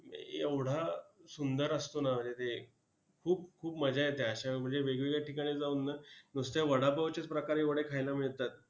एवढा सुंदर असतो ना म्हणजे ते खूप खूप मजा येते अशा वेळी! म्हणजे वेगवेगळ्या ठिकाणी जाऊन ना, नुसते वडापावचेच प्रकार एवढे खायला मिळतात.